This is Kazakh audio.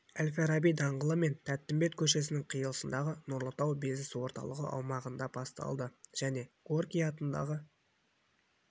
әл-фараби даңғылы мен тәттімбет көшесінің қиылысындағы нұрлы тау бизнес орталығы аумағында басталды және горький атындағы